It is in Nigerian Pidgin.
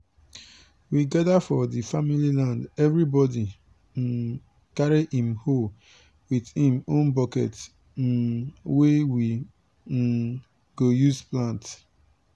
we gada for di family land evribodi um carry im hoe wit im own buket um wey we um go use plant.